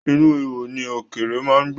Inú ihò ni ọ̀kẹ́ré má ń gbé.